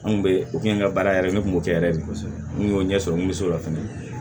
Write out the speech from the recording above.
An kun bɛ n ka baara yɛrɛ ye ne kun b'o kɛ yɛrɛ de kosɛbɛ n kun y'o ɲɛ sɔrɔ n kun bɛ so la fɛnɛ